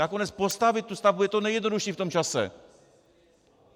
Nakonec postavit tu stavbu je to nejjednodušší v tom čase.